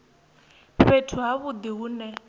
fhethu ha vhudi hu ne